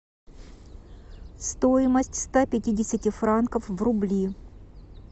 стоимость ста пятидесяти франков в рубли